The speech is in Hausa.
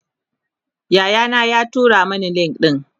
Yaya na ya tura Mani link ɗin